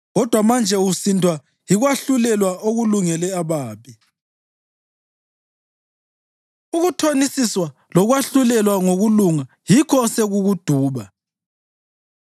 Kodwa manje usindwa yikwahlulelwa okulungele ababi; ukuthonisiswa lokwahlulelwa ngokulunga yikho osekukuduba.